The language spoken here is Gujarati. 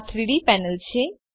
આ 3ડી પેનલ છે